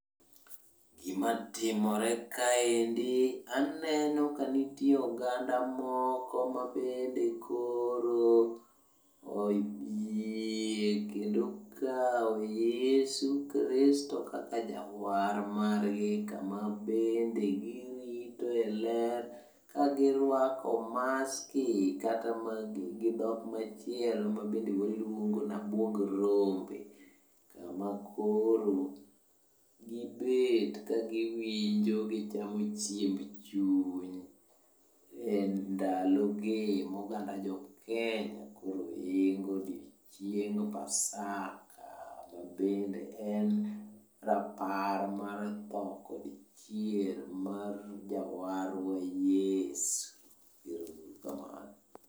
Gima timore kaendi aneno kanitiere oganda moko mabende koro oyie kendo okao Yesu Kristo kaka jawar margi, Kama bende giritoe ler kagirwako maski, katama gi dhok machielo mabende waluongo nabwog rombe. Kama koro gibet kagiwinjo gichamo chiemb chuny e ndalogi moganda jo Kenya koro ingo odieng Pasaka mabende en rapar mar tho kod chier mar jawarwa Yesu. Ero uru kamano.